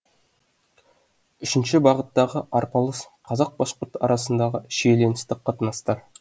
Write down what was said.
үшінші бағыттағы арпалыс қазақ башқұрт арасындағы шиеленісті қатынастар